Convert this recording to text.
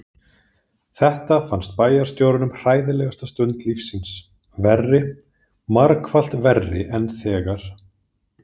Þetta fannst bæjarstjóranum hræðilegasta stund lífs síns, verri, margfalt verri en þegar